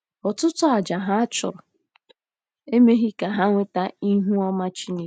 Ọtụtụ àjà ha chụrụ emeghị ka ha nweta ihu ọma Chineke.